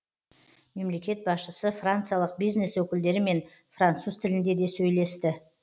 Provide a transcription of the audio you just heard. мемлекет басшысы франциялық бизнес өкілдерімен француз тілінде де сөйлесті